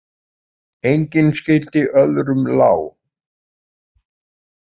Engin skyldi öðrum lá.